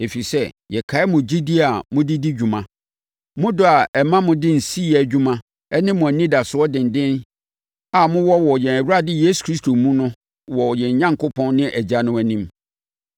Ɛfiri sɛ, yɛkae mo gyidie a mode di dwuma, mo dɔ a ɛma motumi de nsi yɛ adwuma ne mo anidasoɔ denden a mowɔ wɔ yɛn Awurade Yesu Kristo mu no wɔ yɛn Onyankopɔn ne Agya no anim.